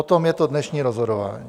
O tom je to dnešní rozhodování.